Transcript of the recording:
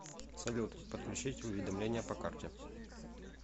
салют подключить уведомление по карте